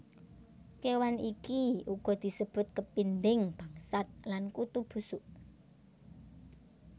Kéwan iki uga disebut kepinding bangsat lan Kutu busuk